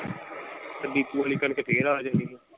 ਤੇ ਡਿਪੂ ਵਾਲੀ ਕਣਕ ਫੇਰ ਆ ਜਾਏਗੀ।